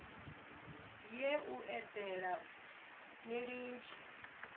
ye u eḓela ni litshe